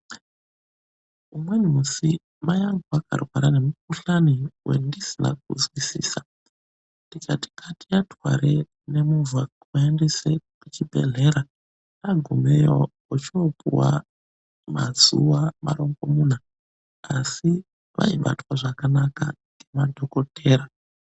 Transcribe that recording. Umweni musi mayangu akarwara ngemukhushani wendisina kuzwisisa, tikati ngatiatware nemovha kuaendesa kuchibhedhlera. Agumeyo ochopuwa mazuwa marongomuna, asi vaibatwe zvakanaka ngemadhokodheya.